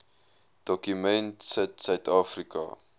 dokument sit suidafrika